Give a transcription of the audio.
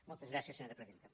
moltes gràcies senyora presidenta